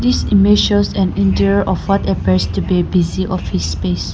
this image shows an interior of what appears to be busy office space.